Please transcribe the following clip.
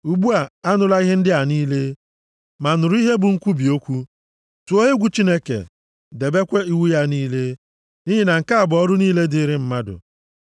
Ugbu a anụla ihe ndị a niile, ma nụrụ ihe bụ nkwubi okwu: Tụọ egwu Chineke, debekwa iwu ya niile, nʼihi na nke a bụ ọrụ niile dịrị mmadụ.